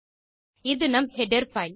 இது நம் header file